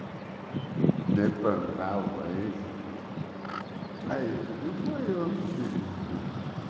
plantava Aí eu fui